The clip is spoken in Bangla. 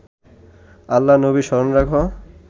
আল্লা-নবী স্মরণ রাখ